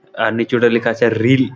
আর নিচো তে লেখা আছে রিল --